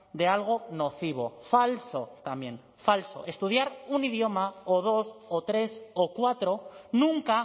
de algo nocivo falso también falso estudiar un idioma o dos o tres o cuatro nunca